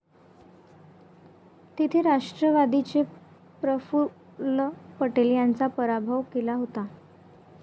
तिथे राष्ट्रवादीचे प्रफुल्ल पटेल यांचा पराभव केला होता.